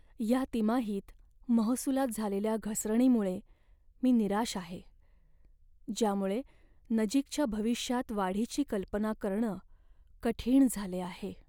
या तिमाहीत महसुलात झालेल्या घसरणीमुळे मी निराश आहे, ज्यामुळे नजीकच्या भविष्यात वाढीची कल्पना करणं कठीण झाले आहे.